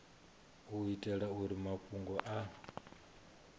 u itela uri mafhungo a